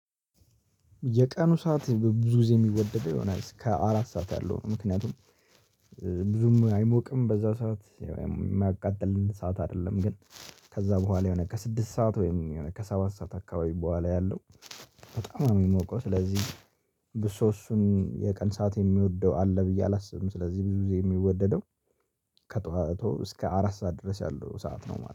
የቀኑ ሰዓት ብዙ ጊዜ የሚወደደው የሆነ እስከ አራት ሰዓት ያለው ነው። ምክንያቱም ብዙም አይሞቅም በዛ ሰዓት የማያቃጥለን ሰዓት አይደለም። ግን ከዛ በኋላ የሆነ ከስድስት ሰዓት ወይም የሆነ ከሰባት ሰዓት አካባቢ በኋላ ያለው። በጣም የሚሞቀው ስለዚህ ብሶ እሱን የቀን ሰዓት የሚወደው አለ ብዬ አላስብም። ስለዚህ ብዙ ጊዜ የሚወደደው ከጠዋቱ እስከ አራት ሰዓት ድረስ ያለው ሰዓት ነው ማለት ነው